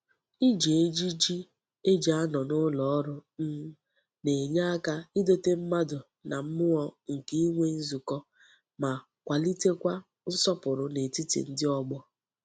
Iji ejiji e ji ano n'uloru um na-enye aka idote mmadu na mmuo nke inwe nzuko ma kwalite Kwa nsopuru n'etiti ndi ogbo.